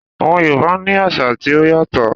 Àwọn Yorùbá ní àṣà tí ó yàtọ̀